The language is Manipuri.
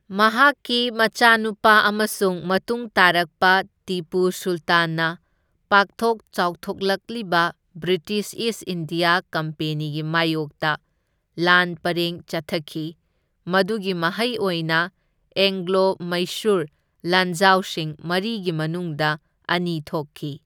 ꯃꯍꯥꯛꯀꯤ ꯃꯆꯥꯅꯨꯄꯥ ꯑꯃꯁꯨꯡ ꯃꯇꯨꯡ ꯇꯥꯔꯛꯄ ꯇꯤꯄꯨ ꯁꯨꯜꯇꯥꯟꯅ ꯄꯥꯛꯊꯣꯛ ꯆꯥꯎꯊꯣꯛꯂꯛꯂꯤꯕ ꯕ꯭ꯔꯤꯇꯤꯁ ꯏꯁ ꯏꯟꯗꯤꯌꯥ ꯀꯝꯄꯦꯅꯤꯒꯤ ꯃꯥꯢꯌꯣꯛꯇ ꯂꯥꯟ ꯄꯔꯦꯡ ꯆꯠꯊꯈꯤ, ꯃꯗꯨꯒꯤ ꯃꯍꯩ ꯑꯣꯏꯅ ꯑꯦꯡꯒ꯭ꯂꯣ ꯃꯩꯁꯨꯔ ꯂꯥꯟꯖꯥꯎꯁꯤꯡ ꯃꯔꯤꯒꯤ ꯃꯅꯨꯡꯗ ꯑꯅꯤ ꯊꯣꯛꯈꯤ꯫